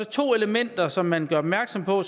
to elementer som man gør opmærksom på